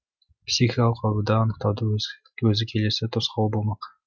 психикалық ауруды анықтаудың өзі келесі тосқауыл болмақ